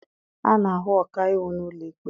A na-ahụ ọkaiwu n'ụlọ ikpe.